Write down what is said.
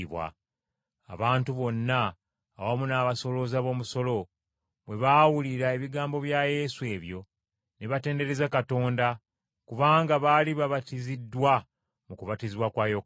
Abantu bonna, awamu n’abasolooza b’omusolo, bwe baawulira ebigambo bya Yesu ebyo, ne batendereza Katonda, kubanga baali babatiziddwa mu kubatizibwa kwa Yokaana.